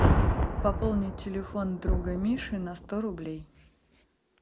пополнить телефон друга миши на сто рублей